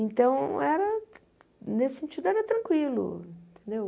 Então, era nesse sentido, era tranquilo, entendeu?